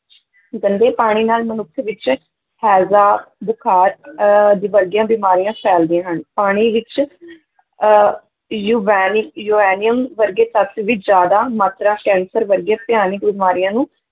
ਗੰਦੇ ਪਾਣੀ ਨਾਲ ਮਨੁੱਖ ਵਿੱਚ ਹੈਜ਼ਾ ਬੁਖਾਰ ਅਹ ਆਦਿ ਵਰਗੀਆਂ ਬਿਮਾਰੀਆਂ ਫੈਲਦੀਆਂ ਹਨ, ਪਾਣੀ ਵਿੱਚ ਅਹ ਯੂਰੇਨੀ ਯੂਰੇਨੀਅਮ ਵਰਗੇ ਤੱਤ ਵੀ ਜ਼ਿਆਦਾ ਮਾਤਰਾ ਕੈਂਸਰ ਵਰਗੀਆਂ ਭਿਆਨਕ ਬਿਮਾਰੀਆਂ ਨੂੰ